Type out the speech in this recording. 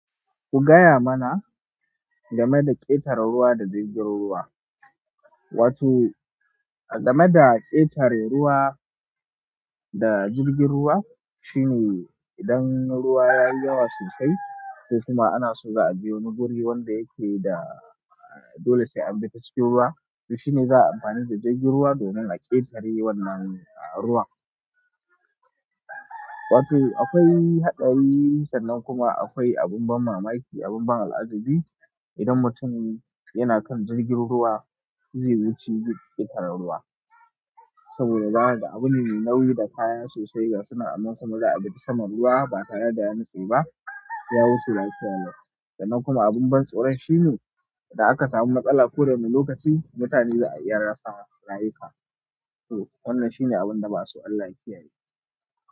Ku gaya mana game da ƙetare ruwa da jirgin ruwa. Wato, game da ƙetare ruwa da jirgin ruwa, shine idan ruwa ya yi yawa sosai, ko kuma ana so za'a je wani guri wanda yake da dole sai an bi ta cikin ruwa, to shine za'a yi amfani da jirgin ruwa domin a ƙetare wannan ruwa. Wato, akwai haɗari sannan kuma akwai abin ban mamaki, abin ban al'ajabi idan mutum yana kan jirgin ruwa zai wuce ƙetaren ruwa. Saboda zaka ga abune mai nauyi da kaya sosai ga sunan za'a bi ta saman ruwa ba tare da ya nutse ba, ya wuce lafiya lau. Sannan kuma abin ban tsoro shine idan aka samu matsala ko wani lokaci mutane za a iya rasa rayuka. To wannan shine abin da ba'a so Allah ya kiya ye.